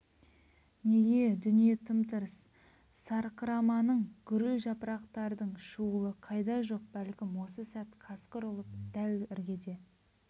неге дүние тым-тырс сарқыраманың гүріл жапырақтардың шуылы қайда жоқ бәлкім осы сәт қасқыр ұлып дәл іргеде